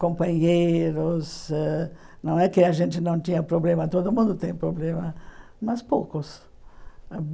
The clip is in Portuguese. Companheiros ãh... Não é que a gente não tinha problema, todo mundo tem problema, mas poucos.